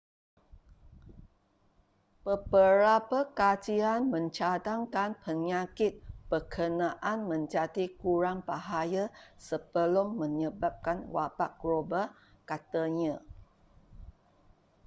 beberap kajian mencadangkan penyakit berkenaan menjadi kurang bahaya sebelum menyebabkan wabak global katanya